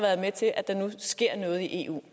eu